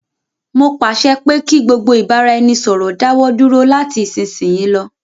Mó pàṣẹ pé kí gbogbo ìbáraẹnisọ̀rọ̀ dáwọ dúró lati isisiyi lọ.